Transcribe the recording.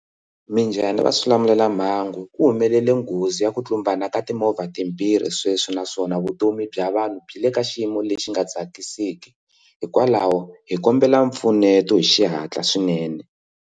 Minjhani va xilamulelamhangu ku humelele nghozi ya ku tlumbana ka timovha timbirhi sweswi naswona vutomi bya vanhu byi le ka xiyimo lexi nga tsakisiki hikwalaho hi kombela mpfuneto hi xihatla swinene.